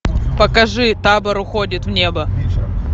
покажи табор уходит в небо